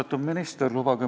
Austatud minister!